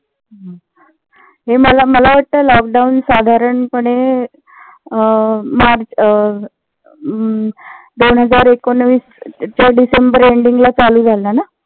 हे मला मला वाटत lockdown साधारण पणे अं मार्च अं दोन हजार एकोणवीसच्या डिसेम्बर ending ला चालू झाला ना.